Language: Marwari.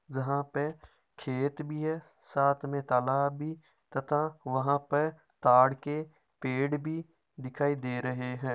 जहां पे खेत भी है साथ में तालाब भी तथा वहां पर ताड़ के पेड़ भी दिखाई दे रहे हैं।